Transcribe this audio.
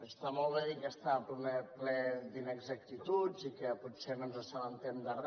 està molt bé dir que està ple d’inexactituds i que potser no ens assabentem de re